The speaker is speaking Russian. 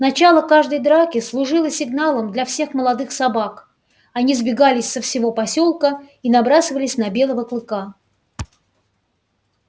начало каждой драки служило сигналом для всех молодых собак они сбегались со всего посёлка и набрасывались на белого клыка